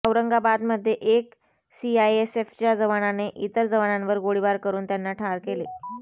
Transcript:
औरंगाबादमध्ये एक सीआयएसएफच्या जवानाने इतर जवानांवर गोळीबार करून त्यांना ठार केले